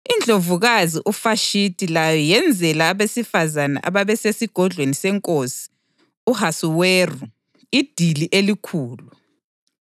INdlovukazi uVashithi layo yenzela abesifazane ababesesigodlweni seNkosi u-Ahasuweru idili elikhulu.